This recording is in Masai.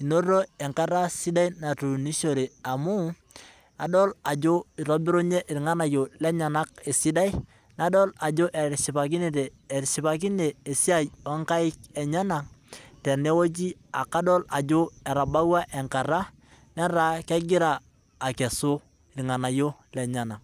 enoto enkata sidai natuunishore amu adol eitubirunye ilnganayio lenyena esidai nadol ajo etishipakine esiai onkaik enyena nadol ajo etas kebau enkata netaa kegira akesu ilnganayio lenyena.